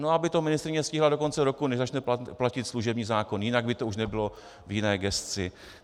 No aby to ministryně stihla do konce roku, než začne platit služební zákon, jinak by to už nebylo v jiné gesci.